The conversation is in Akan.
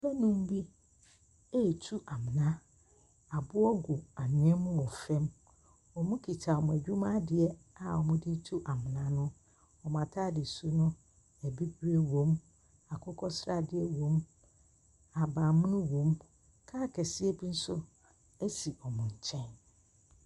Nnipa nnum bi ɛretu amona. Aboɔ gu anwea mu wɔ fam, wɔkita wɔn adwma adeɛ a wɔde retu amona no. wɔn ataadesu no, abibire wɔm, akokɔsradeɛ wɔm, ahabanmono wɔn, kaa kɛseɛ bi nso si wɔn nkyɛn.